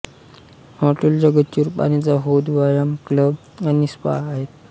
हॉटेलच्या गच्चीवर पाण्याचा हौद व्यायाम क्लब आणि स्पा आहेत